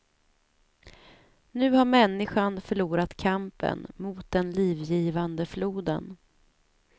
Nu har människan förlorat kampen mot den livgivande floden.